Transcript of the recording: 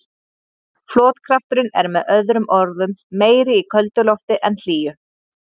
Flotkrafturinn er með öðrum orðum meiri í köldu lofti en hlýju.